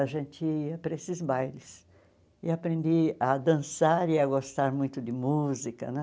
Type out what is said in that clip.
A gente ia para esses bailes e aprendi a dançar e a gostar muito de música né.